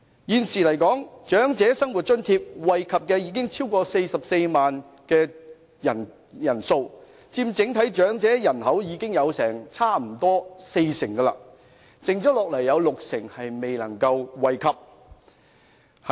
現時長者生活津貼惠及超過44萬人，差不多佔整體長者人口的四成，還有六成人未能惠及。